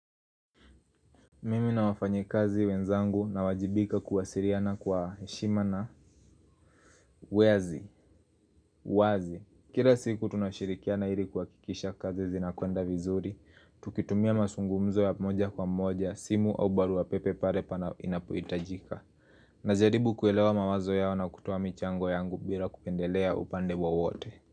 Mimi na wafanyikazi wenzangu nawajibika kuwasiriana kwa heshima na wazi, uwazi. Kira siku tunashirikiana iri kuhakikisha kazi zinakwenda vizuri Tukitumia masungumzo ya moja kwa moja, simu au barua pepe pare pana inapoitajika. Najaribu kuelewa mawazo yao na kutoa michango yangu bira kupendelea upande wowote.